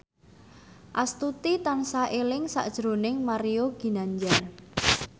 Astuti tansah eling sakjroning Mario Ginanjar